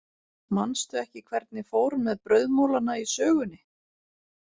Manstu ekki hvernig fór með brauðmolana í sögunni?